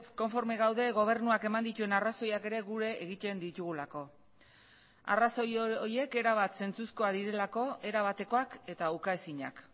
konforme gaude gobernuak eman dituen arrazoiak ere gure egiten ditugulako arrazoi horiek erabat zentzuzkoak direlako erabatekoak eta ukaezinak